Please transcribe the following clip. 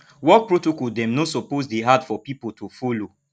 work protocol dem no suppose dey hard for pipo to folo